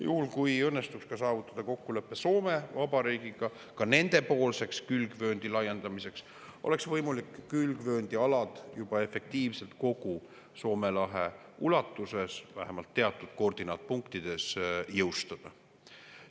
Juhul kui õnnestuks saavutada kokkulepe Soome Vabariigiga ka nendepoolse külgvööndi laiendamiseks, oleks võimalik külgvööndialad juba efektiivselt kogu Soome lahe ulatuses, vähemalt teatud koordinaatpunktides, jõustada.